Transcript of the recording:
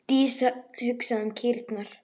Dísa hugsaði um kýrnar.